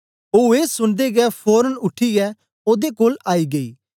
ओ ए सुनदे गै फोरन उठीयै ओदे कोल आई गेई